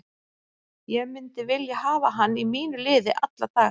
Ég myndi vilja hafa hann í mínu liði alla daga.